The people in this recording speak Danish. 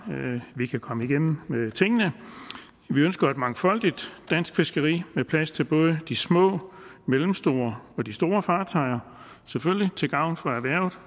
vi kan komme igennem med tingene vi ønsker et mangfoldigt dansk fiskeri med plads til både de små mellemstore og de store fartøjer selvfølgelig til gavn for erhvervet